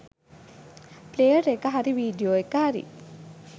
Player එක හරි video එක හරි.